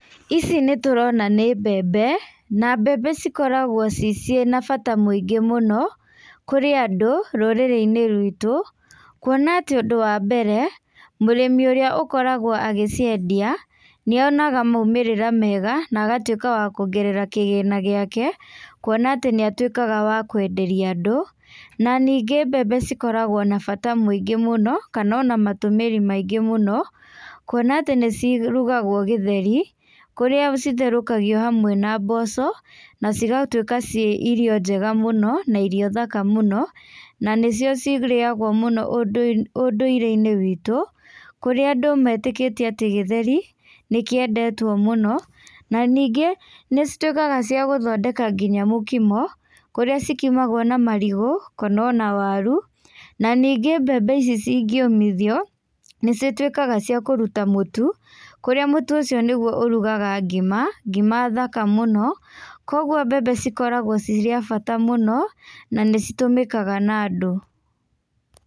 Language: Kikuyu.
Ici nĩ tũrona nĩ mbembe, na mbembe cikoragwo cina bata mũingĩ mũno, kũrĩ andũ rũrĩrĩ-inĩ rwitũ kuona atĩ wa mbere, mũrĩmi ũrĩa ũkoragwo agĩciendia, nĩ onaga maũmĩrĩra mega na agatũĩka wa kũongerea kĩgĩna gĩake , kuona atĩ nĩ atuĩkaga wa kwenderia andũ na nĩnge mbembe cikoragwo na bata mũingĩ mũno, kana ona matũmĩri maingĩ mũno kũona atĩ nĩcirũgaga gĩtheri kũrĩa citherũkagio na mboco na cigatũĩka ci irio njega mũno na irio thaka mũno, na nĩcio cirĩagwo mũno ũndũire-inĩ witũ , kũrĩa andũ metĩkitĩe githeri, nĩ kiendetwo mũno na ningĩ nĩ cituĩkaga cia gũthondeka nginya mũkimo, kũrĩa cikimagwo na marigũ, kana ona warũ na nĩnge mbembe ici cingĩũmithio, nĩ citwikaga cia kũruta mũtũ kũrĩa mũtũ, ũcio nĩ ũrugaga ngima, ngima thaka mũno, kũgwo mbembe cikoragwo ci cia bata mũno, na nĩcitũmĩkaga na andũ.